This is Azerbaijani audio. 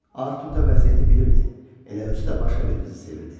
Artur da vəziyyəti bilirdi, elə özü də başqa bir qızı sevirdi.